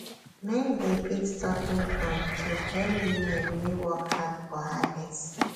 men dey beat talking drum to hail women wey work hard for harvest